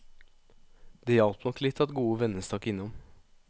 Det hjalp nok litt at gode venner stakk innom.